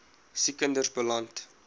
siek kinders beland